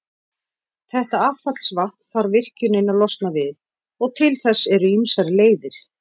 Þetta affallsvatn þarf virkjunin að losna við, og til þess eru ýmsar leiðir.